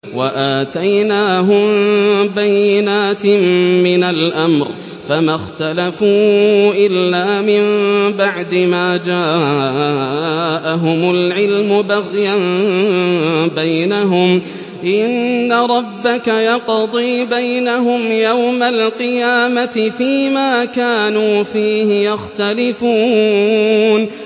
وَآتَيْنَاهُم بَيِّنَاتٍ مِّنَ الْأَمْرِ ۖ فَمَا اخْتَلَفُوا إِلَّا مِن بَعْدِ مَا جَاءَهُمُ الْعِلْمُ بَغْيًا بَيْنَهُمْ ۚ إِنَّ رَبَّكَ يَقْضِي بَيْنَهُمْ يَوْمَ الْقِيَامَةِ فِيمَا كَانُوا فِيهِ يَخْتَلِفُونَ